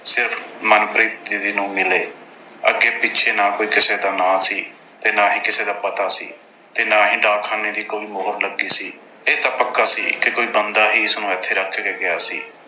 ਸਿਰਫ਼ ਮਨਪ੍ਰੀਤ ਦੀਦੀ ਨੂੰ ਮਿਲੇ। ਅੱਗੇ-ਪਿੱਛੇ ਨਾ ਕੋਈ ਕਿਸੇ ਦਾ ਨਾਂਅ ਸੀ ਤੇ ਨਾ ਹੀ ਕਿਸੇ ਦਾ ਪਤਾ ਸੀ ਤੇ ਨਾ ਹੀ ਡਾਕਖਾਨੇ ਦੀ ਕੋਈ ਮੋਹਰ ਲੱਗੀ ਸੀ। ਇਹ ਤਾਂ ਪੱਕਾ ਸੀ ਕਿ ਕੋਈ ਬੰਦਾ ਹੀ ਇਸਨੂੰ ਇੱਥੇ ਰੱਖ ਕੇ ਗਿਆ ਸੀ।